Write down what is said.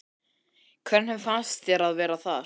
Hvernig fannst þér að vera þar?